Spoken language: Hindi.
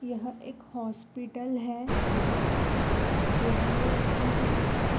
यह एक हॉस्पिटल है यहाँ पर कुछ चेयरे रखी हुई है।